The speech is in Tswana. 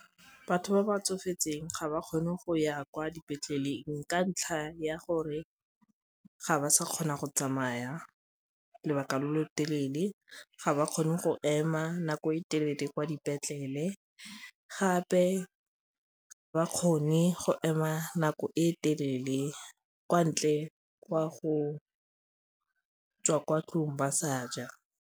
Batho ba ba tsofetseng ga ba kgone go ya kwa dipetleleng ka ntlha ya gore ga ba sa kgona go tsamaya lobaka lo lo telele, ga ba kgone go ema nako e le tšhelete kwa dipetlele gape bakgoni go ema nako e telele kwa ntle kwa go tswa kwa ntlong ba sa ja.